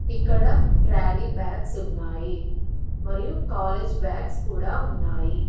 ఇక్కడ trolley bags ఉన్నాయి మరియు కాలేజ్ బాగ్స్ కూడా ఉన్నాయి.